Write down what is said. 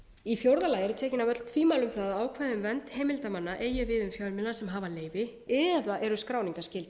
fjórða tekin eru af öll tvímæli um það að ákvæði um vernd heimildarmanna eigi við um fjölmiðla sem hafa leyfi eða eru skráningarskyldir